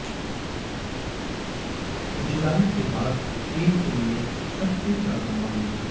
जुलाई के बाद एक दिन में सबसे ज्यादा मामले